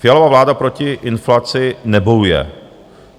Fialova vláda proti inflaci nebojuje.